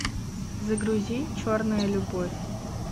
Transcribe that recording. загрузи черная любовь